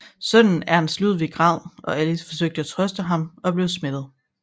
Sønnen Ernst Ludwig græd og Alice forsøgte at trøste ham og blev smittet